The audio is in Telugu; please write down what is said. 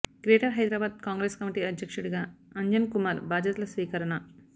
గ్రేటర్ హైదరాబాద్ కాంగ్రెస్ కమిటీ అధ్యక్షుడిగా అంజన్ కుమార్ బాధ్యతల స్వీకరణ